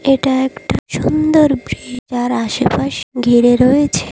এটা একটা সুন্দর ব্রিজ আর আশেপাশে ঘিরে রয়েছে--